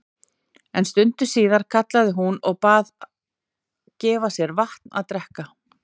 En stundu síðar kallaði hún og bað gefa sér vatn að drekka.